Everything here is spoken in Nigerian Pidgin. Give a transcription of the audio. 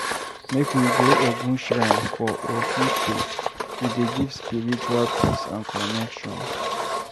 Make we go Ogun shrine for Osun State, e dey give spiritual peace and connection.